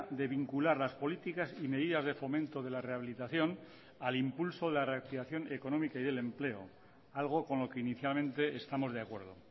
de vincular las políticas y medidas de fomento de la rehabilitación al impulso de la reactivación económica y del empleo algo con lo que inicialmente estamos de acuerdo